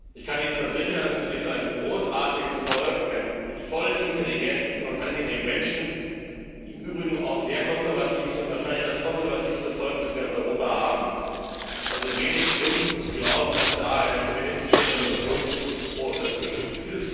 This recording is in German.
Ich kann Ihnen versichern Es ist ein großartiges Volk, voller intelligenter und angenehmer Menschen, die im Übrigen auch sehr konservativ sind wahrscheinlich das konservativste Volk, das wir in Europa haben. Es gibt also wenig Grund zu glauben, dass da eine feministische Revolution vor der Tür steht.